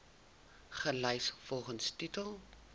gelys volgens titel